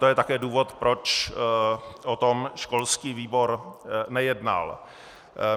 To je také důvod, proč o tom školský výbor nejednal.